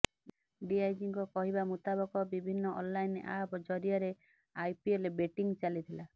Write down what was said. ଡିଆଇଜିଙ୍କ କହିବା ମୁତାବକ ବିଭିନ୍ନ ଅନଲାଇନ୍ ଆପ୍ ଜରିଆରେ ଆଇପିଏଲ୍ ବେଟିଂ ଚାଲିଥିଲା